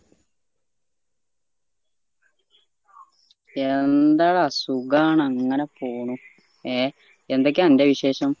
എന്താടാ സുഖാണ് അങ്ങനെ പോണു എ എന്തൊക്കെയാ അന്റെ വിശേഷം